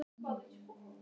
Hún andvarpaði mæðulega.